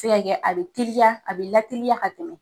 Se ka kɛ, a be teliya a be lateliya ka tɛmɛ